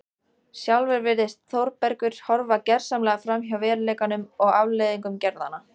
Sjálfur virðist Þórbergur horfa gersamlega framhjá veruleikanum og afleiðingum gerðanna.